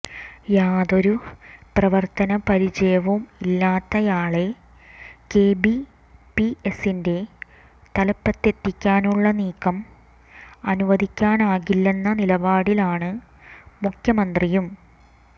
യാതൊരു പ്രവര്ത്തനപരിചയവും ഇല്ലാത്തയാളെ കെ ബി പി എസിന്റെ തലപ്പത്തെത്തിക്കാനുള്ള നീക്കം അനുവദിക്കാനാകില്ലെന്ന നിലപാടിലാണ് മുഖ്യമന്ത്രിയും